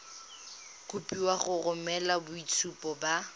kopiwa go romela boitshupo ba